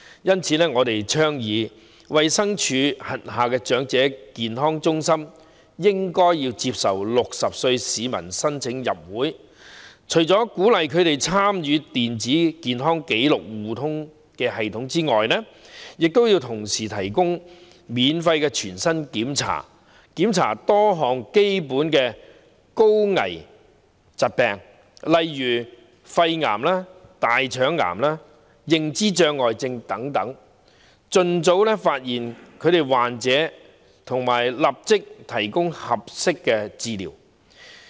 因此，我們倡議衞生署轄下長者健康中心接受60歲市民申請入會，鼓勵他們參與電子健康紀錄互通系統之餘，同時提供免費全面身體檢查，涵蓋多項基本的高危疾病，例如肺癌、大腸癌，認知障礙症等，以便盡早發現患者和立即提供合適治療。